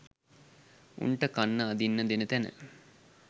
උන්ට කන්න අදින්න දෙන තැන